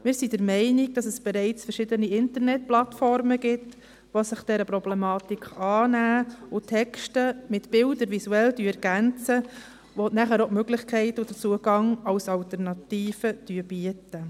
Wir sind der Meinung, dass es bereits verschiedene Internetplattformen gibt, die sich dieser Problematik annehmen, dabei Texte mit Bildern visuell ergänzen und so auch die Möglichkeit und den Zugang als Alternative bieten.